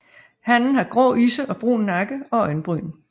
Hannen har grå isse og brun nakke og øjenbryn